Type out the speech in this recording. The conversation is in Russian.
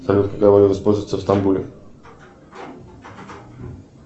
салют какая валюта используется в стамбуле